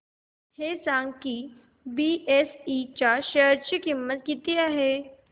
हे सांगा की आज बीएसई च्या शेअर ची किंमत किती आहे